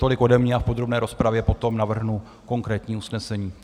Tolik ode mě a v podrobné rozpravě potom navrhnu konkrétní usnesení.